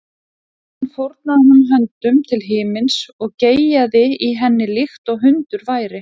Síðan fórnaði hún höndum til himins og geyjaði í henni líkt og hundur væri.